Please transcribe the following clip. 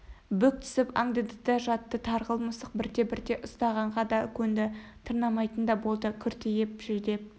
бүк түсіп аңдыды да жатты тарғыл мысық бірте-бірте ұстағанға да көнді тырнамайтын да болды кіртиіп жүдеп